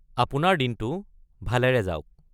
আপোনাৰ দিনটো ভালেৰে যাওক।